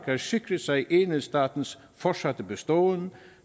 har sikret sig enhedsstatens fortsatte beståen